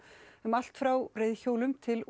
um allt frá reiðhjólum til